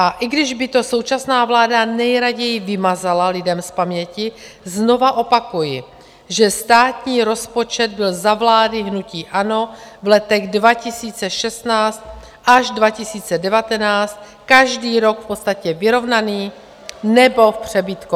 A i když by to současná vláda nejraději vymazala lidem z paměti, znova opakuji, že státní rozpočet byl za vlády hnutí ANO v letech 2016 až 2019 každý rok v podstatě vyrovnaný nebo v přebytku.